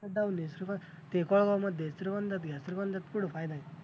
ते कोळवामध्ये श्रीगोंद्यात घ्या श्रीगोंद्यात पुढं फायदा आहे.